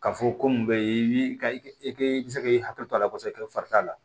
Ka fɔ ko mun be i ka i be se k'i hakili to a la kosɛbɛ i ka fari t'a la